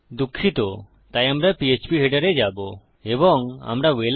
দুঃখিত তাই আমরা পীএচপী হেডার এ যাবো এবং আমরা Welcome